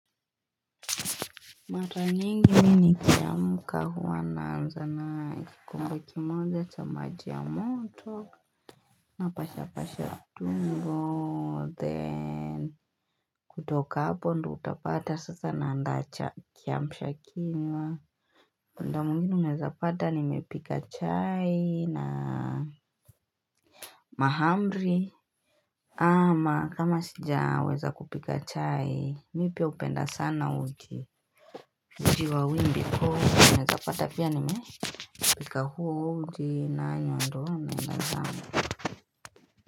Mara nyingi mi ni kiamka huwa naanza na kikombe kimoja cha maji ya moto na pasha pasha tumbo then kutoka hapo ndo utapata sasa naa ndacha kiamshakinnywa muda mwnginw uneza pata nimepika chai na mahamri ama kama sija weza kupika chai mi pia hupenda sana uji uji wa wimbi ko kata pia ni me pika huo uji na yondon nengangang.